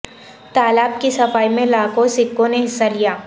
تالاب کی صفائی میں لاکھوں سکھوں نے حصہ لیا